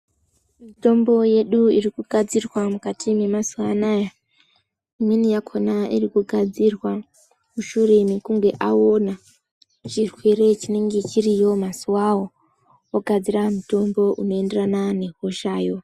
Mitombo yedu irikugadzirwa mukati mwemazuva anaya, imweni yakhona irikugadzira mushure mekunge aona chirwere chinenge chiriyo mazuwao, vogadzira mutombo unoenderana nehoshayo.